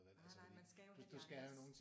Nej nej man skal jo have de andres